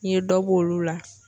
N'i ye dɔ b'olu la.